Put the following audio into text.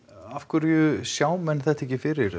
af hverju sjá menn þetta ekki fyrir